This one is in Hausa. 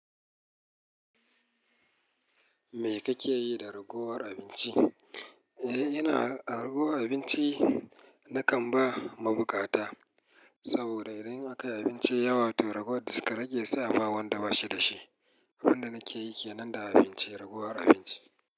Me kake yi da ragowar abinci? Eh, ina ragowa abinci, nakan ba mabukata saboda idan akayi abinci yawa to raguwar ta karage sai a bawa wanda bashi da shi. Abin da nake yi ke nan da abinci, ragowar abinci.